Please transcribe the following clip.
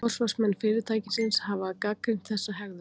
Forsvarsmenn fyrirtækisins hafa gagnrýnt þessa hegðun